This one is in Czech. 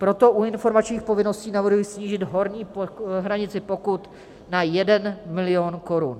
Proto u informačních povinností navrhuji snížit horní hranici pokut na 1 milion korun.